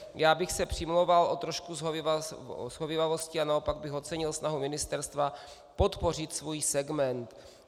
Já bych se přimlouval o trošku shovívavosti a naopak bych ocenil snahu ministerstva podpořit svůj segment.